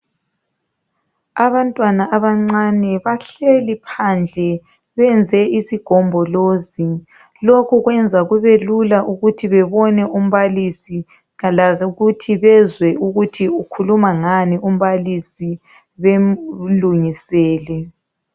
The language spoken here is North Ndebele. Abantwana abancane bahleli phandle benze isigombolozi, lokhu kwenza kube lula ukuthi bebone umbalisi lokuthi bezwe ukuthi ukhuluma ngani umbalisi bemlungisele.